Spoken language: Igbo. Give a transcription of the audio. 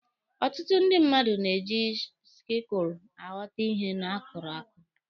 Ọtụtụ ndị mmadụ na-eji sikụlụ aghọta ihe akụrụ akụ.